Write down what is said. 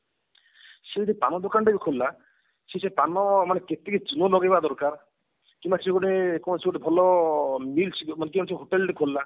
ସେ ଜଡ ପାନ ଦୋକାନ ଟିଏ ବି ଖୋଲିଲା ସେ ଯଦି ପାନ ମାନେ କେତିକି ଚୂନ ଲଗେଇବା ଦରକାର କିମ୍ବା ସେ ଗୋଟେ କୌଣସି ଗୋଟେ ଭଲ meals ମାନେ ଯଦି ସିଏ ଗୋଟେ hotel ଟିଏ ଖୋଲିଲା